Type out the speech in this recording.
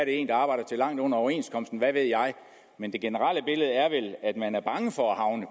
en der arbejder til langt under overenskomsten hvad ved jeg men det generelle billede er vel at man er bange for at havne